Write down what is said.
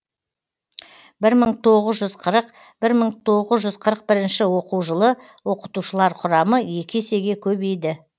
бір мың тоғыз жүз қырық бір мың тоғыз жүз қырық бірінші оқу жылы оқытушылар құрамы екі есеге көбейді